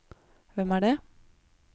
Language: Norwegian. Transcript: hvem er det